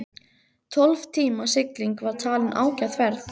Tólf tíma sigling var talin ágæt ferð.